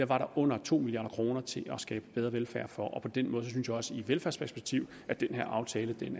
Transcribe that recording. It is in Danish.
var der under to milliard kroner til at skabe bedre velfærd for og på den måde synes jeg også i et velfærdsperspektiv at den her aftale